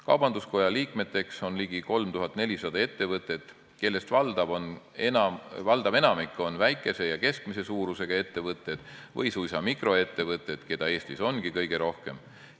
Kaubanduskoja liikmeteks on ligi 3400 ettevõtet, kellest valdav osa on väikese ja keskmise suurusega ettevõtted või suisa mikroettevõtted, keda Eestis ongi kõige rohkem.